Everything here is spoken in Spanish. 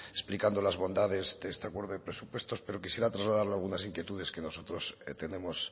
explicando las bondades de este acuerdo de presupuestos pero quisiera trasladarle algunas inquietudes que nosotros tenemos